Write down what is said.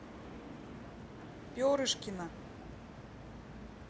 перышкина